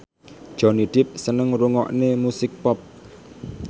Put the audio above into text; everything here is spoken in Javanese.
Johnny Depp seneng ngrungokne musik pop